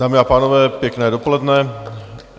Dámy a pánové, pěkné dopoledne.